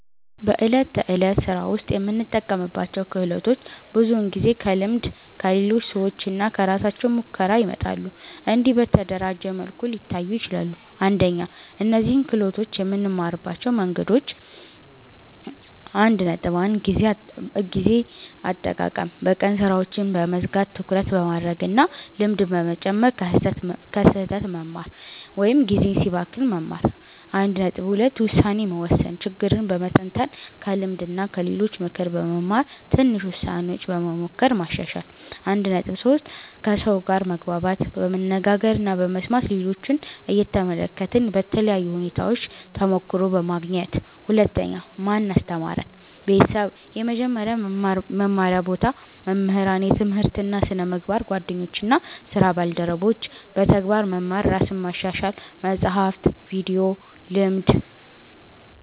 በዕለት ተዕለት ሥራ ውስጥ የምንጠቀምባቸው ክህሎቶች ብዙውን ጊዜ ከልምድ፣ ከሌሎች ሰዎች እና ከራሳችን ሙከራ ይመጣሉ። እንዲህ በተደራጀ መልኩ ሊታዩ ይችላሉ፦ 1) እነዚህን ክህሎቶች የምንማርባቸው መንገዶች 1.1 ጊዜ አጠቃቀም በቀን ሥራዎችን በመዝጋት ትኩረት በማድረግ እና ልምድ በመጨመር ከስህተት በመማር (ጊዜ ሲባክን መማር) 1.2 ውሳኔ መወሰን ችግርን በመተንተን ከልምድ እና ከሌሎች ምክር በመማር ትንሽ ውሳኔዎች በመሞከር ማሻሻል 1.3 ከሰው ጋር መግባባት በመነጋገር እና በመስማት ሌሎችን እየተመለከትን በተለያዩ ሁኔታዎች ተሞክሮ በማግኘት 2) ማን አስተማረን? ቤተሰብ – የመጀመሪያ መማር ቦታ መምህራን – የትምህርት እና ስነ-ምግባር ጓደኞች እና ስራ ባልደረቦች – በተግባር መማር ራስን ማሻሻል – መጻሕፍት፣ ቪዲዮ፣ ልምድ